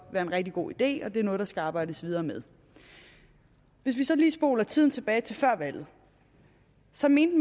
være en rigtig god idé og at det er noget der skal arbejdes videre med hvis vi så lige spoler tiden tilbage til før valget så mente